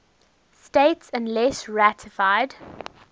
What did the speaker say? states unless ratified